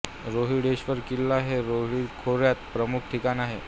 रोहिडेश्वर किल्ला हे रोहीड खोऱ्याचे प्रमुख ठिकाण होते